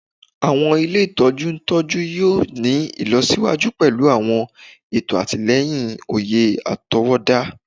Awọn ile itọju ntọju yoo ni ilọsiwaju pẹlu awọn eto atilẹyin oye atọwọda